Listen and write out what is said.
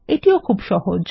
এটিও খুব সহজ